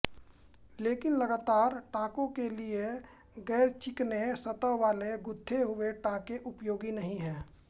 लेकिन लगातार टांकों के लिये गैरचिकने सतह वाले गुंथे हुए टांके उपयोगी नहीं हैं